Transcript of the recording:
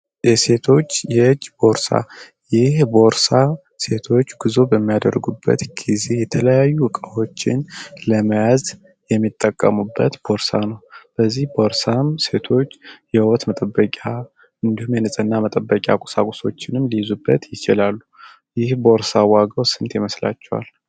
የሴቶች የእጅ ቦርሳ ይህ ቦርሳ ሴቶች ጉዞ በሚያደርጉበት ጊዜ የተለያዩ ዕቃፎችን ለመያዝ የሚጠቀሙበት ፖርሳ ነው በዚህ ቦርሳም ሴቶች የውበት መጠበቂያ እንዲሁም የንፅህና መጠበቂያ ቁሳቁሶችንም ሊይዙበት ይችላሉ ይህ ቦርሳ ዋጋው ስንት ይመስላቸዋል?